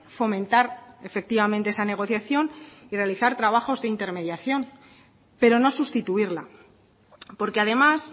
fomentar efectivamente esa negociación y realizar trabajos de intermediación pero no sustituirla porque además